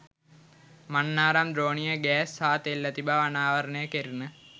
මන්නාරම් ද්‍රෝණියේ ගෑස් හා තෙල් ඇති බව අනාවරණය කෙරිණ.